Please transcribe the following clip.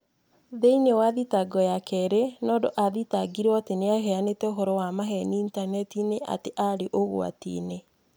Thĩinĩ wa thitango ya kerĩ, Nondo athitangirwo atĩ nĩ aheanĩte ũhoro wa maheeni initaneti-inĩ atĩ aarĩ ũgwati-inĩ.